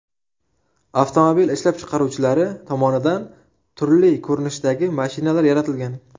Avtomobil ishlab chiqaruvchilari tomonidan turli ko‘rinishdagi mashinalar yaratilgan.